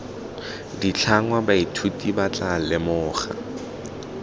ditlhangwa baithuti ba tla lemoga